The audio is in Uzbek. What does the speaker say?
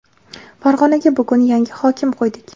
Farg‘onaga bugun yangi hokim qo‘ydik.